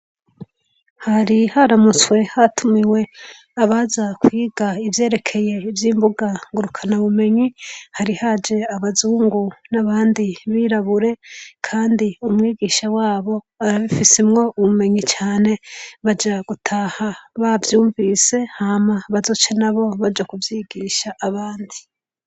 Hari haramutse hatumiwe abaza kwiga ivyerekeye ivy'imbuga ngurukanabumenyi. Hari haje abazungu n'abandi birabure kandi umwigisha wabo arabifisemwo ubumenyi cane baza bavyumvise cane mabaze gutaha bace baja kuvyigisha abandi.